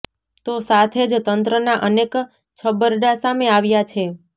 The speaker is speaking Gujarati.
તો સાથે જ તંત્રના અનેક છબરડા સામે આવ્યા છે